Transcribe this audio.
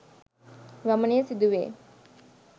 වමනය සිදු වේ